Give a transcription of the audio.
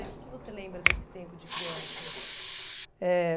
né O que que você lembra desse tempo de criança? Eh